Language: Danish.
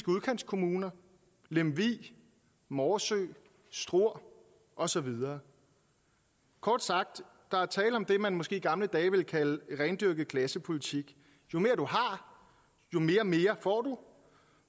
udkantskommuner lemvig morsø struer og så videre kort sagt er der tale om det man måske i gamle dage ville kalde rendyrket klassepolitik jo mere du har jo mere mere får du